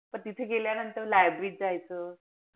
पण तिथे गेल्यानंतर library जायचं.